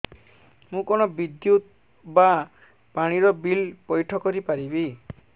ମୁ କଣ ବିଦ୍ୟୁତ ବା ପାଣି ର ବିଲ ପଇଠ କରି ପାରିବି